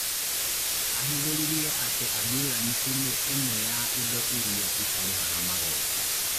Ahithũrĩirie atĩ ambulanĩcĩ nĩ ĩmwe ya indo iria itarĩhaga magoti